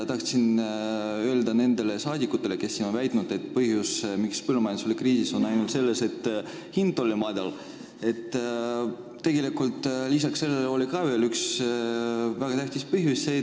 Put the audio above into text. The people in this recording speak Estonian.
Nendele rahvasaadikutele, kes on väitnud, et põhjus, mis põllumajandus oli kriisis, oli ainult see, et hind oli madal, tahan öelda, et tegelikult oli veel üks väga tähtis põhjus.